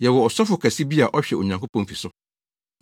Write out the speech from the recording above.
Yɛwɔ ɔsɔfo kɛse bi a ɔhwɛ Onyankopɔn fi so.